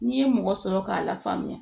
N'i ye mɔgɔ sɔrɔ k'a lafaamuya